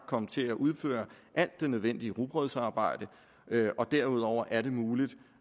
komme til at udføre alt det nødvendige rugbrødsarbejde og derudover er det muligt